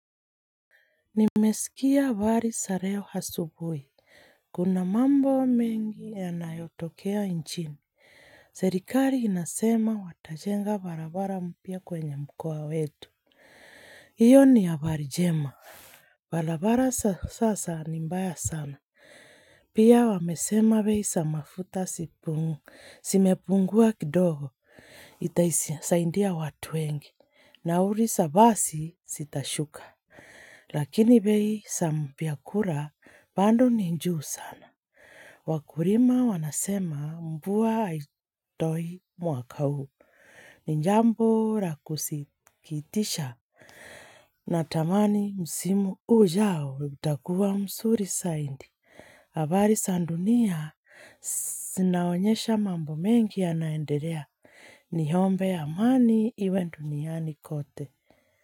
Nimesikia habari za leo asubuhi, kuna mambo mengi yanayotokea nchini, serikali inasema watajenga barabara mpya kwenye mkoa wetu, hiyo ni habari njema. Barabara za sasa ni mbaya sana. Pia wamesema bei za mafuta zimepungua kidogo. Itasaidia watu wengi. Na uliza basi zitashuka. Lakini bei za vyakula bado ni juu sana. Wakulima wanasema mvua haitoi mwaka huu, ni jambo la kusikitisha, natamani msimu ujao utakua mzuri saidi. Habari za dunia zinaonyesha mambo mengi yanaendelea, niombe amani iwe duniani kote.